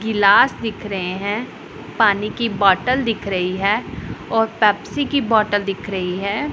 गिलास दिख रहे हैं पानी की बोटल दिख रही है और पेप्सी की बोटल दिख रही है।